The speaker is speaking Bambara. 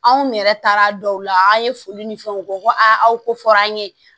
Anw yɛrɛ taara dɔw la an ye foli ni fɛnw kɛ ko aw ko fɔra an ɲe